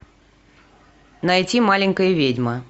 найти маленькая ведьма